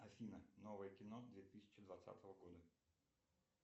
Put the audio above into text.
афина новое кино две тысячи двадцатого года